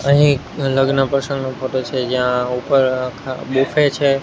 અહીં એક લગ્ન પ્રસંગનો ફોટો છે જ્યાં ઉપર આખા બુફે છે.